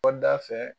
Kɔda fɛ